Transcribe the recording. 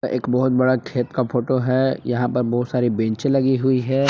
एक बहुत बड़ा खेत का फोटो है यहां पर बहुत सारी बेंचे लगी हुई है।